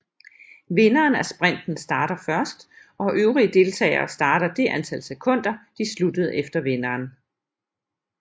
Vinderen af sprinten starter først og øvrige deltagere starter det antal sekunder de sluttede efter vinderen